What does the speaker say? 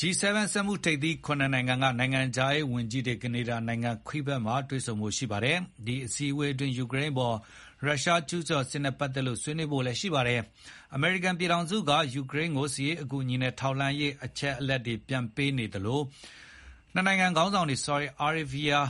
G7 စက်မှုထိပ်သီး (၇) နိုင်ငံက နိုင်ငံခြားရေးဝန်ကြီးတွေ ကနေဒါနိုင်ငံ Quebec မှာ တွေ့ဆုံကြဖို့ ရှိပါတယ်။ ဒီအစည်းအဝေးအတွင်း ယူကရိန်းအပေါ် ရုရှားကျူးကျော်စစ်နဲ့ ပတ်သက်လို့လည်း ဆွေးနွေးမှာပါ။ အမေရိကန်ပြည်ထောင်စုက ယူကရိန်းကို စစ်ရေးအကူအညီနဲ့ ထောက်လှမ်း ရေးအချက်အလက်တွေ ပြန်ပေးနေသလို နှစ်နိုင်ငံခေါင်းဆောင်တွေ ဆော်ဒီအာရေးဘီးယား